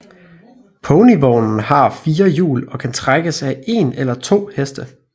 Ponyvognen har fire hjul og kan trækkes af én eller to heste